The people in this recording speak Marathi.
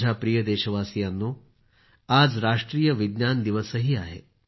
माझ्या प्रिय देशवासियांनो आज राष्ट्रीय विज्ञान दिवसही आहे